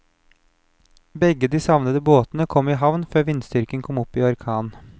Begge de savnede båtene kom i havn før vindstyrken kom opp i orkan.